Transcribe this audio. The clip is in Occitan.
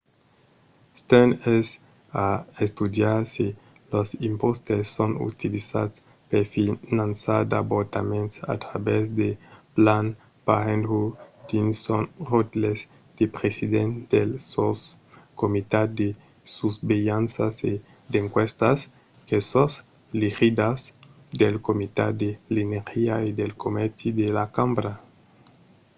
stearns es a estudiar se los impòstes son utilizats per finançar d'avortaments a travèrs de planned parenthood dins son ròtle de president del soscomitat de susvelhança e d'enquèstas qu'es sos l'egida del comitat de l'energia e del comèrci de la cambra